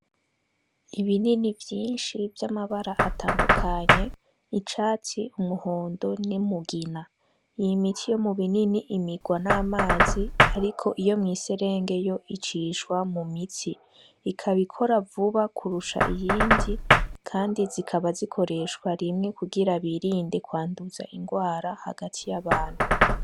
Ibinini vyinshi vy'amabara atandukanye icatsi umuhondo ni mugina yimiti yo mu binini imigwa n'amazi, ariko iyo mw'iserengeyo icishwa mu mitsi ikabikora vuba kurusha iyindi, kandi zikaba zikoreshwa rimwe kugira bibi rinde kwanduza ingwara hagati y'abantu.